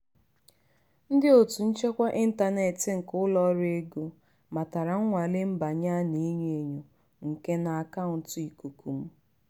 ndị otu nchekwa intaneti nke ụlọ ọrụ ego matara nnwale mbanye a na-enyo enyo nke n'akauntu ikuku m.